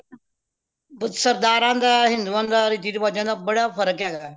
ਸਰਦਾਰਾ ਦਾ ਹਿੰਦੁਆਂ ਦਾ ਰਿਤੀ ਰਿਵਾਜਾਂ ਦਾ ਬੜਾ ਫ਼ਰਕ ਹੇਗਾ